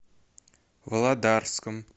володарском